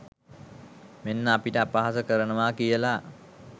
මෙන්න අපිට අපහාස කරනවා කියලා.